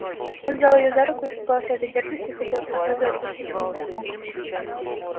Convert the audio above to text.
он взял её за руку испугался этой дерзости хотел тотчас же отпустить и не смог